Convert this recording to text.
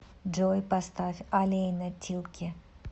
джой поставь алейна тилки